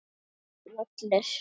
Fínn völlur.